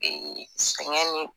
sɛgɛn ni